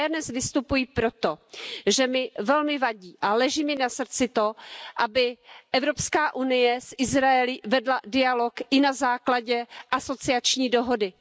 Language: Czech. Já dnes vystupuji proto, že mi velmi vadí a leží mi na srdci to, aby EU s Izraelem vedla dialog i na základě asociační dohody.